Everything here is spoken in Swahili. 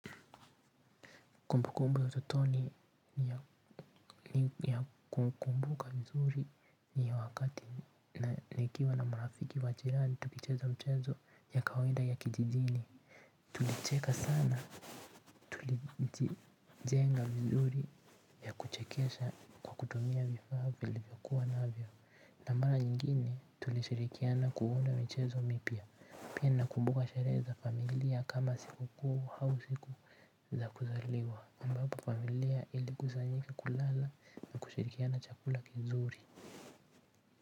Kumbukumbu ya utotoni ya kukumbuka nzuri ni ya wakati na nikiwa na marafiki wa jirani tukicheza mchezo ya kawaida ya kijijini. Tulicheka sana, tulijenga vizuri ya kuchekesha kwa kutumia vifaa vilivyokuwa na vyo. Na mara nyingine tulishirikiana kunda michezo mipya. Pia na kumbuka sherehe za familia kama siku kuu hau siku za kuzaliwa ambapo familia ili kusanyika kulala na kushirikiana chakula kizuri.